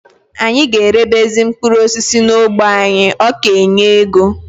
Anyị ga erebezi mkpụrụ osisi n'ógbè anyị, ọ ka enye ego